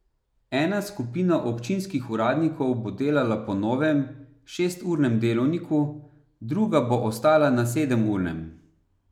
Ena skupina občinskih uradnikov bo delala po novem, šesturnem delovniku, druga bo ostala na sedemurnem.